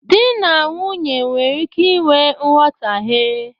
Dị na nwunye nwere ike i nwe mghọtahie.